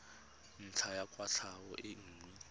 ntlha ya kwatlhao e nngwe